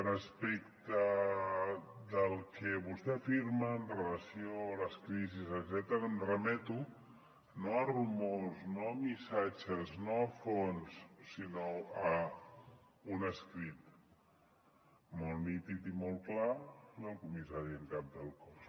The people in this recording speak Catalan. respecte del que vostè afirma amb relació a les crisis em remeto no a rumors no a missatges no a fonts sinó a un escrit molt nítid i molt clar del comissari en cap del cos